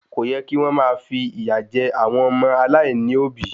Kò yẹ kí wọ́n máa fi ìyà jẹ àwọn ọmọ aláìní òbí